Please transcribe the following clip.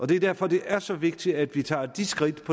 det er derfor det er så vigtigt at vi tager de skridt